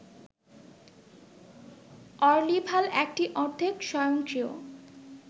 অর্লিভাল একটি অর্ধেক স্বয়ংক্রিয়